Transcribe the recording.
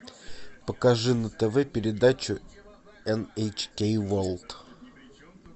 покажи на тв передачу эн эйч кей ворлд